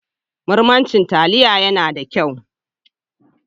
Murman cin taliya ya na da kyau.